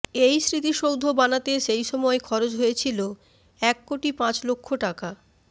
এই স্মৃতিসৌধ বানাতে সেই সময় খরচ হয়েছিল এক কোটি পাঁচ লক্ষ টাকা